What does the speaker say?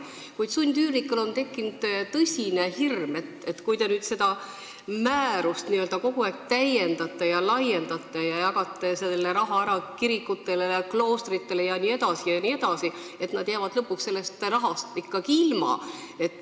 Kuid sundüürnikel on tekkinud tõsine hirm, et kui te seda määrust kogu aeg täiendate ja laiendate ja jagate selle raha ära kirikutele ja kloostritele jne, siis nemad jäävad lõpuks sellest rahast ilma.